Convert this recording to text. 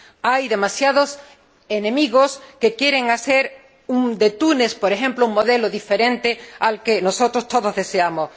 Hay demasiados enemigos que quieren hacer de Túnez, por ejemplo, un modelo diferente al que todos nosotros deseamos.